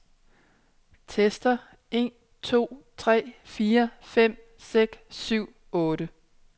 Tester en to tre fire fem seks syv otte.